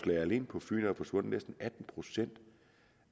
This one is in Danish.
der alene på fyn forsvundet næsten atten procent